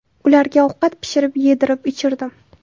Ularga ovqat pishirib, yedirib-ichirdim.